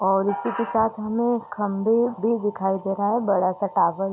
और इसी के साथ हमे खम्बे भी दिखाई दे रहा है बड़ा सा टावर --